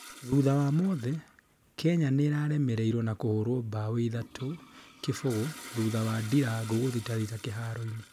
thutha wa mothe, Kenya nĩiraremereirwo na kuhurwo mbao ĩthatũ kibũgu thutha wa ndirangũ guthitathita kĩharo-inĩ